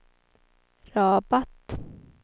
Rabat